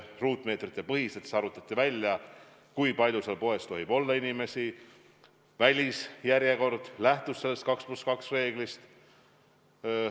Ruutmeetrite põhiselt arvutati välja, kui palju seal poes tohib inimesi olla, ja välisjärjekord lähtus sellest 2 + 2 reeglist.